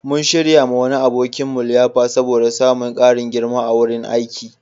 Mun shiryawa wani abokinmu liyafa saboda samun ƙarin girma a wurin aiki.